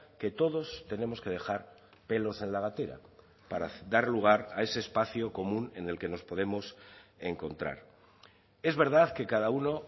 que todos tenemos que dejar pelos en la gatera para dar lugar a ese espacio común en el que nos podemos encontrar es verdad que cada uno